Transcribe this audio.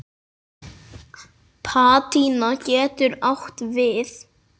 Patína getur átt við